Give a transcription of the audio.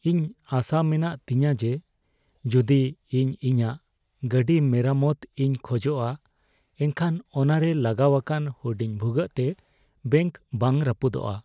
ᱤᱧ ᱟᱥᱟ ᱢᱮᱱᱟᱜ ᱛᱤᱧᱟᱹ ᱡᱮ, ᱡᱩᱫᱤ ᱤᱧ ᱤᱧᱟᱹᱜ ᱜᱟᱹᱰᱤ ᱢᱮᱨᱟᱢᱚᱛ ᱤᱧ ᱠᱷᱚᱡᱚᱜᱼᱟ ᱮᱱᱠᱷᱟᱱ ᱚᱱᱟᱨᱮ ᱞᱟᱜᱟᱣ ᱟᱠᱟᱱ ᱦᱩᱰᱤᱧ ᱵᱷᱩᱜᱟᱹᱜ ᱛᱮ ᱵᱮᱝᱠ ᱵᱟᱝ ᱨᱟᱹᱯᱩᱫᱚᱜᱼᱟ ᱾